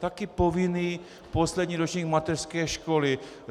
Taky povinný poslední ročník mateřské školy.